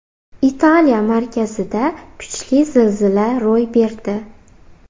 Italiya markazida kuchli zilzila ro‘y berdi.